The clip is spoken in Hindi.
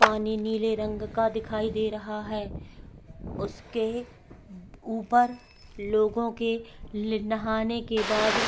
पानी नीले रंग का दिखाई दे रहा है उसके ऊपर लोगों के नहाने के बाद --